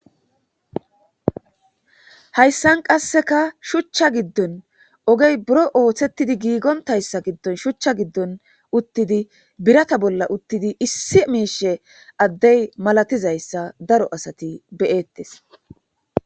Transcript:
hayssan qasseka shuchcha giddon ogey buro ooththettidi giigontayssa giddon shuchcha giddon uttidi birata bolla uttidi issi miishe addey malatizayssa daro asati beyettes